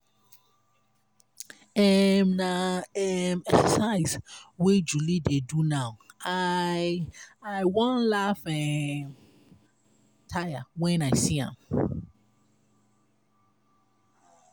um na um exercise wey july dey do now. i. i wan laugh um tire wen i see am